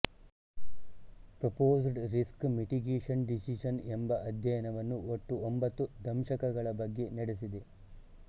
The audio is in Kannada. ಪ್ರೊಪೊಸ್ಡ್ ರಿಸ್ಕ್ ಮಿಟಿಗೇಶನ್ ಡಿಸಿಜನ್ ಎಂಬ ಅಧ್ಯಯನವನ್ನು ಒಟ್ಟು ಒಂಭತ್ತು ದಂಶಕಗಳ ಬಗ್ಗೆ ನಡೆಸಿದೆ